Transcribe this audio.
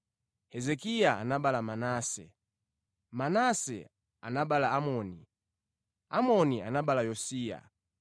Hezekiya anabereka Manase, Manase anabereka Amoni, Amoni anabereka Yosiya.